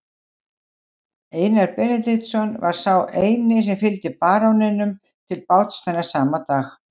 Einar Benediktsson var sá eini sem fylgdi baróninum til báts þennan sama dag.